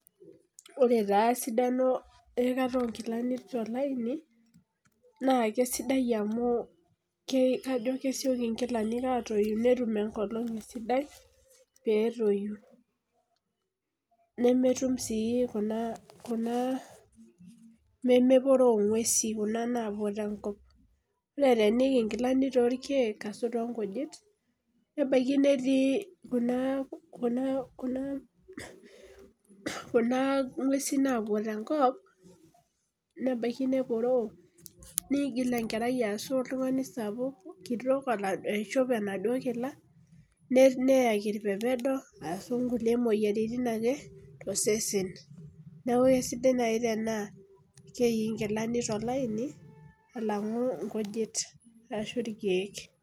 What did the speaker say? koree esidaiooo ikikata onkilani too laini naa kajoo naa kesioki atoyu amu ketum enkolong sidai petoyu nemetum sii nemeporoo ngwesin kuna naapuo te nkop naa teeniik inkilani too orkek arasho torkujit neporoo nigil enkerai arasho oltungani sapuk aishop inakila nejing irpepedo niaku kesidai naii tena keikii inkilani tolaini